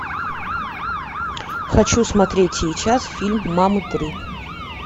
хочу смотреть сейчас фильм мамы три